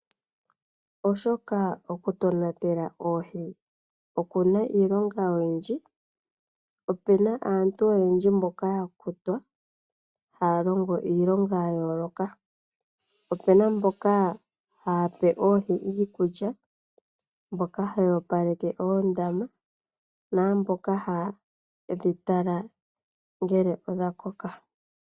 Oshoka oku tonatela oohi oku na iilonga oyindji, ope na aantu oyendji mboka ya kutwa haya longo iilonga ya yooloka. Ope na mboka haya pe oohi iikulya, mboka haya opaleke oondama naamboka haye dhi tala ngele odha koka.